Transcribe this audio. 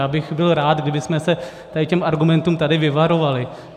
Já bych byl rád, kdybychom se těchto argumentů tady vyvarovali.